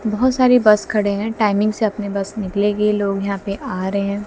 बहोत सारी बस खड़े है टाइमिंग से अपनी बस निकलेगी लोग यहां पे आ रहे हैं।